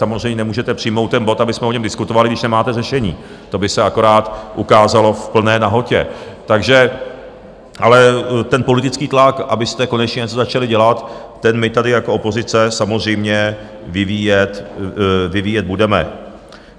Samozřejmě nemůžete přijmout ten bod, abychom o něm diskutovali, když nemáte řešení, to by se akorát ukázalo v plné nahotě, takže - ale ten politický tlak, abyste konečně něco začali dělat, ten my tady jako opozice samozřejmě vyvíjet budeme.